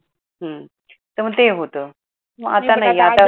तर मग ते होत. आता नाही आता